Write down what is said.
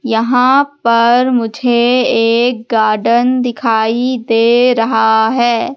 यहां पर मुझे एक गार्डन दिखाई दे रहा है।